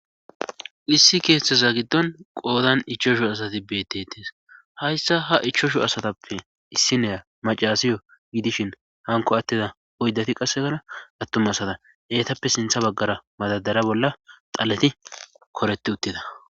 Issi keethaza giddon qoodan ichashu asati beetes hayssa ha ichashu asatappe issi niya macaasiyo gidishin hankko attida oyddati qassekara attuma asata etappe sintha baggaara madardara bolla dhaleti koretti uttida